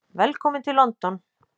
Velkominn til London.